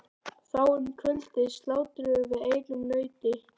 Þá um kvöldið slátruðum við einu nauti.